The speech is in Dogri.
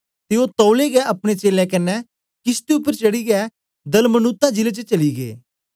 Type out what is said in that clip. ते ओ तौलै गै अपने चेलें कन्ने किशती उपर चढ़ीयै दलमनूता जिले च चली गै